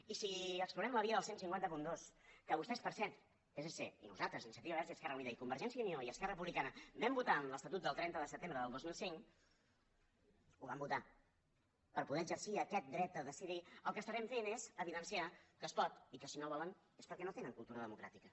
i si explorem la via del quinze zero dos que vostès per cert psc i nosaltres iniciativa verds i esquerra unida i convergència i unió i esquerra republicana vam votar en l’estatut del trenta de setembre del dos mil cinc ho van votar per poder exercir aquest dret a decidir el que estarem fent és evidenciar que es pot i que si no volen és perquè no tenen cultura democràtica